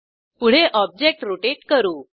पुढे object rotate करू